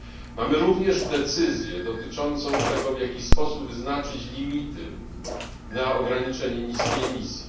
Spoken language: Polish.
Mamy również decyzję dotyczącą tego, w jaki sposób wyznaczyć limity na ograniczenie niskiej emisji.